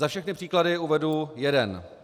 Za všechny příklady uvedu jeden.